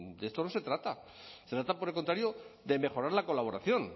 de esto no se trata se trata por el contrario de mejorar la colaboración